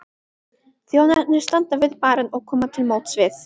Þjónarnir standa við barinn og koma til móts við